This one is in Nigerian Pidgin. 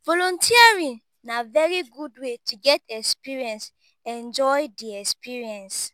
volunteering na very good way to get experience enjoy di experience